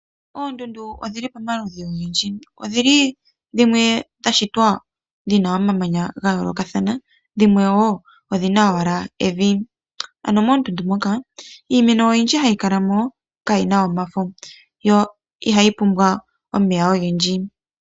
Oondundu odhili pomaludhi ogendji odhili dhimwe dhashitwa dhina omamanya ga yoolokathana dhimwe woo odhina owala evi . Ano moondundu moka iimeno oyindji hayi kalaml kayina omafo yo ihayi pumbwa omeya ogendji